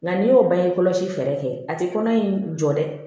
Nka n'i y'o bange kɔlɔsi fɛɛrɛ kɛ a ti kɔnɔ in jɔ dɛ